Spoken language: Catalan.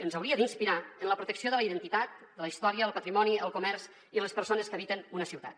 ens hauria d’inspirar en la protecció de la identitat de la història el patrimoni el comerç i les persones que habiten una ciutat